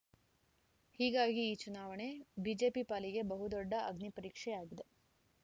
ಹೀಗಾಗಿ ಈ ಚುನಾವಣೆ ಬಿಜೆಪಿ ಪಾಲಿಗೆ ಬಹುದೊಡ್ಡ ಅಗ್ನಿಪರೀಕ್ಷೆಯಾಗಿದೆ